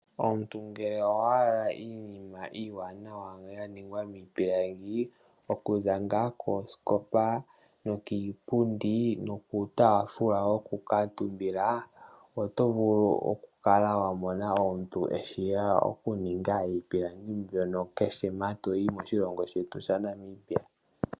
Omuntu ngele owa hala iinima iiwanawa ya ningwa miipilangi okuza ngaa koosikopa, iipundi niiyaafula, oto vulu oku kala wa mona omuntu ngono eshi oku ninga iipilangi mbyono kehe mpa to yi moshilongo shetu shaNamibia.